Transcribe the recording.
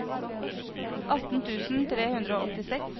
atten tusen tre hundre og åttiseks